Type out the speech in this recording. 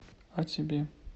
о тебе